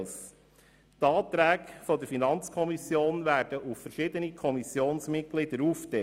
Die Anträge der FiKo werden auf verschiedene Kommissionsmitglieder aufgeteilt.